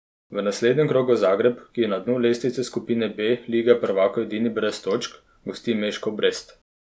V naslednjem krogu Zagreb, ki je na dnu lestvice skupine B lige prvakov edini brez točk, gosti Meškov Brest.